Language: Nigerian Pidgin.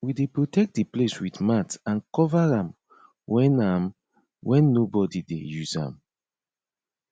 we dey protect di place with mat and cover am when am when nobody dey use am